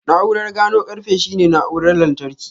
Na'urar gano ƙarfe shine na'urar lantarki.